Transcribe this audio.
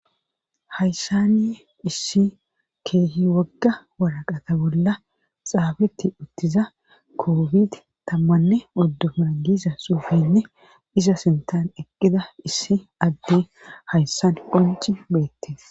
Hayssani issi keehi wagga waraqata bolla xaabetti uttiza koofid tammanne oddu muragisa suufinne isa sintan eqqida issi adde hayssan qonci beette